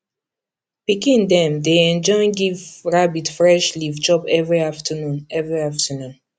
pikin dem dey enjoy give rabbit fresh leaf chop every afternoon every afternoon